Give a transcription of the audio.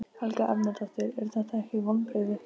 Ég ranka við mér og klára málsgreinina.